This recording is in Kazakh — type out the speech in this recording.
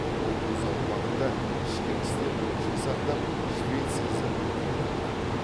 ол өз аумағында ішкі істер бойынша сақтап швеция заңын қолданды